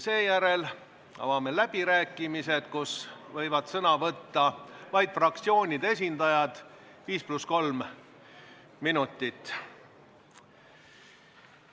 Seejärel avame läbirääkimised, kus võivad sõna võtta vaid fraktsioonide esindajad, 5 + 3 minutit.